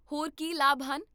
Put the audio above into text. ਹੋਰ ਕੀ ਲਾਭ ਹਨ?